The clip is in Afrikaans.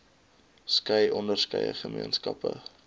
skei onderskeie gemeenskappe